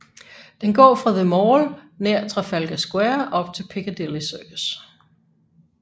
Den går fra The Mall nær Trafalgar Square op til Piccadilly Circus